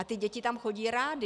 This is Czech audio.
A ty děti tam chodí rády.